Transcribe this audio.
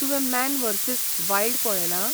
तुवें Man versus Wild पळयलां?